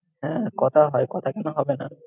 হ্যাঁ, কথা হয়, কথা কেন হবে না!